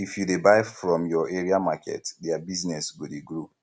if you dey buy from your area market their business go dey grow